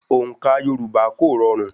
Òǹkà Yorùbá kò rọrùn.